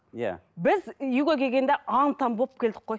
иә біз үйге келгенде аң таң болып келдік қой